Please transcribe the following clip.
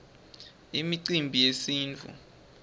imicimbi yesintfu